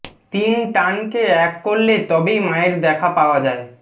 তিন টানকে এক করলে তবেই মায়ের দেখা পাওয়া যায়